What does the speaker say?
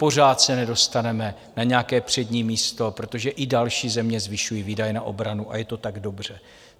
Pořád se nedostaneme na nějaké přední místo, protože i další země zvyšují výdaje na obranu, a je to tak dobře.